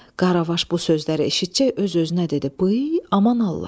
Qaravaş bu sözləri eşitcək öz-özünə dedi: "Bıy, aman Allah!"